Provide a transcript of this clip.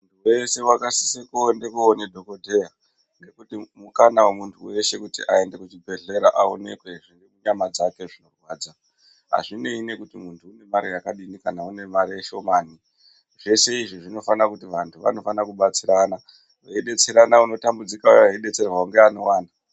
Munhu wese akasisa kuenda joona dhokodheya Kana muntu weshe aenda koona dhokodheya aonekwe zviri munyama dzake zvinorwadza azvinei nekuti muntu unibara yakadini kana kuti mare shomani zveshe izvi zvinofanira kuti vantu vanofanira kubatsirana veidetserana uya anotambudzika eidetsera neanowana.